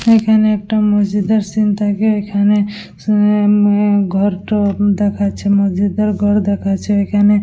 এখানে একটা মসজিদ -এর সিন থাকে এখানে অ্যা উম অ্যা উম ঘরটো উম দেখাচ্ছে মসজিদ -এর ঘর দেখাছে এখানে ।